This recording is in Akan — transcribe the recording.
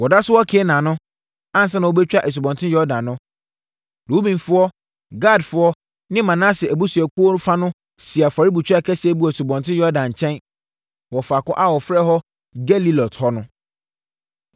Wɔda so wɔ Kanaan no, ansa na wɔbɛtwa Asubɔnten Yordan no, Rubenfoɔ, Gadfoɔ ne Manase abusuakuo fa no sii afɔrebukyia kɛseɛ bi wɔ Asubɔnten Yordan nkyɛn, wɔ faako a wɔfrɛ hɔ Gelilot no.